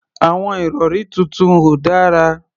Àwọn ìrọ̀rí tuntun ò dára.